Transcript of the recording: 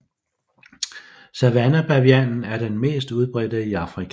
Savannebavianen er den mest udbredte i Afrika